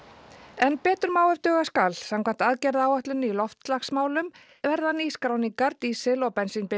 en betur má ef duga skal samkvæmt aðgerðaáætlun í loftslagsmálum verða nýskráningar dísil og